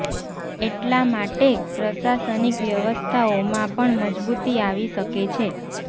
એટલાં માટે પ્રશાસનિક વ્યવસ્થાઓમાં પણ મજબૂતી આવી શકે છે